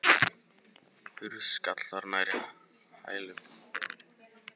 Hurð skall þar nærri hælum.